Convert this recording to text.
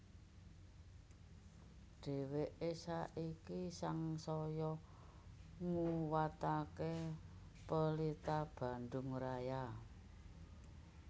Dheweke saiki sangsaya nguwatake Pelita Bandung Raya